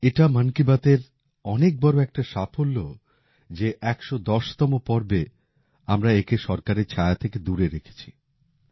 এটা মন কি বাতের অনেক বড়ো একটা সাফল্য যে এই ১১০টি পর্ব পর্যন্ত আমরা সরকারের ছায়া থেকে একে দূরে রেখেছি